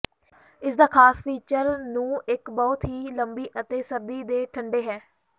ਇਸ ਦਾ ਖਾਸ ਫੀਚਰ ਨੂੰ ਇੱਕ ਬਹੁਤ ਹੀ ਲੰਬੀ ਅਤੇ ਸਰਦੀ ਦੇ ਠੰਡੇ ਹੈ